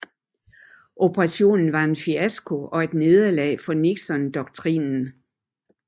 Operationen var en fiasko og et nederlag for Nixondoktrinen